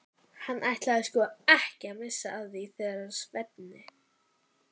Hann ætlaði sko ekki að missa af því þegar Svenni